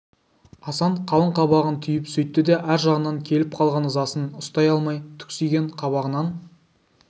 асан қалың қабағын түйіп сөйтті де ар жағынан келіп қалған ызасын ұстай алмай түксиген қабағынан